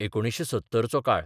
1970 चो काळ.